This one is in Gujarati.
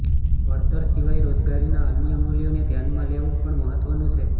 વળતર સિવાય રોજગારીના અન્ય મૂલ્યોને ધ્યાનમાં લેવું પણ મહત્વનું છે